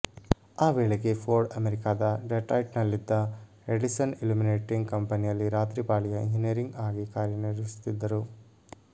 ಆ ವೇಳೆಗೆ ಫೋರ್ಡ್ ಅಮೆರಿಕದ ಡೆಟ್ರಾಯ್ಟ್ನಲ್ಲಿದ್ದ ಎಡಿಸನ್ ಇಲ್ಯುಮಿನೇಟಿಂಗ್ ಕಂಪೆನಿಯಲ್ಲಿ ರಾತ್ರಿ ಪಾಳಿಯ ಎಂಜಿನಿಯರ್ ಆಗಿ ಕಾರ್ಯನಿರ್ವಹಿಸುತ್ತಿದ್ದರು